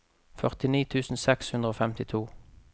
førtini tusen seks hundre og femtito